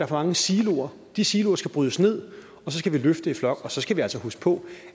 for mange siloer de siloer skal brydes ned og så skal vi løfte det i flok og så skal vi altså huske på